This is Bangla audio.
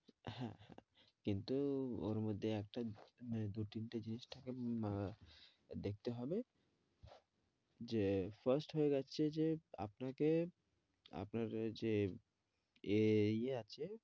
হ্যাঁ হ্যাঁ কিন্তু ওর মধ্যে একটা মানে দু তিনটা জিনিস থাকে আহ দেখতে হবে যে first হয়ে যাচ্ছে যে আপনাকে আপনার যে এই ইয়ে আছে